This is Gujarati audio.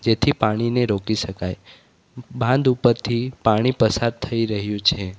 જેથી પાણીને રોકી શકાય બાંધ ઉપરથી પાણી પસાર થઈ રહ્યું છે.